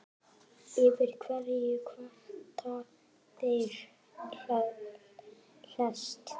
Yfir hverju kvarta þeir helst?